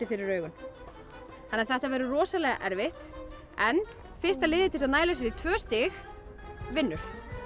fyrir augun þannig að þetta verður rosalega erfitt en fyrsta liðið til að mæla sér í tvö stig vinnur